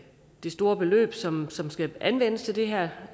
store beløb som som skal anvendes til det her